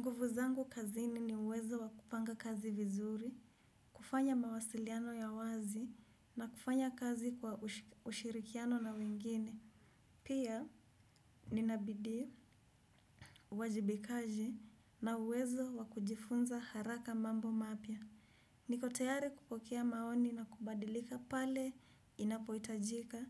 Nguvu zangu kazini ni uwezo wa kupanga kazi vizuri, kufanya mawasiliano ya wazi na kufanya kazi kwa ushirikiano na wengine. Pia, nina bidii, wajibikaji na uwezo wa kujifunza haraka mambo mapya. Niko tayari kupokea maoni na kubadilika pale inapoitajika.